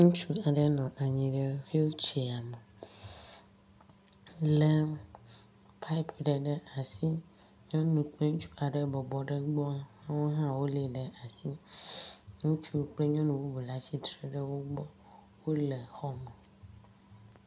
Ŋutsu aɖe nɔ anyi ɖe wò tsɛyame lé pupi aɖe ɖe asi. Nyɔnu kple ŋutsu wobɔbɔ ɖe gbɔ wo hã wolé ɖe asi. Ŋutsu kple nyɔnu bubu le atsitre le wo gbɔ. Wole xɔme.